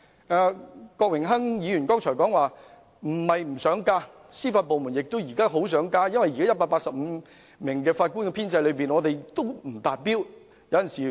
正如郭榮鏗議員剛才所說，不是司法機構不想增加人手，因為現時185名法官的編制根本仍未達標。